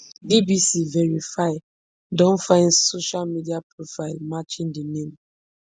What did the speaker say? bbc verify don find social media profile matching di name